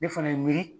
Ne fana ye miiri